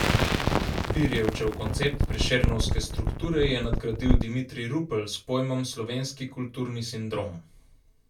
Pirjevčev koncept Prešernovske strukture je nadgradil Dimitrij Rupel s pojmom slovenski kulturni sindrom.